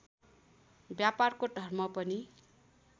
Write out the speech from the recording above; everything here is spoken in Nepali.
व्यापारको धर्म पनि